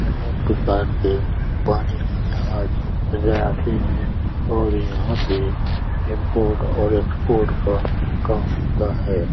अनेक प्रकार के पानी के जहाज यहां आते हैं और यहां से इम्पोर्ट और एक्सपोर्ट का काम होता है।